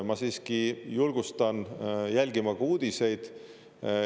Ma siiski julgustan jälgima ka uudiseid.